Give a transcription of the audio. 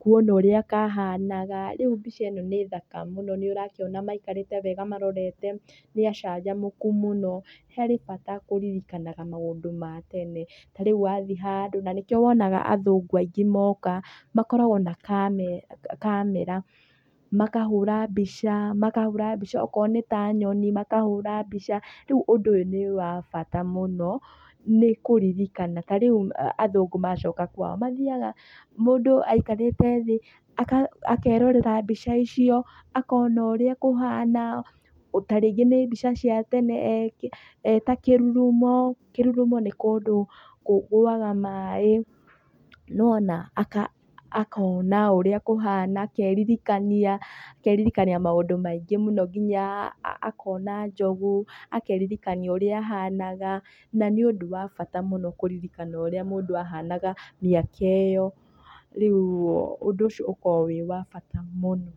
kuona ũrĩa kahanaga. Rĩu mbica ĩno nĩ thaka mũno. Nĩũrakĩona maikarĩte wega marorete nĩacanjamũku mũno. Harĩ bata kũririkanaga maũndũ ma tene, tarĩu wathiĩ handũ. Na nĩkĩo wonaga athũngũ aingĩ moka, makoragwo na kamera, makahũra mbica, makahũra mbica akorwo nĩ ta nyoni, makahũra mbica, rĩu ũndũ ũyũ nĩ wa bata mũno nĩkũririkana. Tarĩu athũngũ macoka kwao, mathiaga, mũndũ aikarĩte thĩ, akerorera mbica icio, akona ũrĩa kũhana, ta rĩngĩ nĩ mbica cia tene eta kĩrurumo. Kĩrurumo nĩ kũndũ kũgũaga maĩ, nĩwona, aka akona ũrĩa kũhana akeririkania, akeririkania maũndũ maingĩ mũno kinya akona njogu, akeririkania ũrĩa ahanaga, na nĩũndũ wa bata mũno kũririkana ũrĩa mũndũ ahanaga mĩaka ĩyo. Riũ ũndũ ũcio ũkoragwo wĩ wa bata mũno.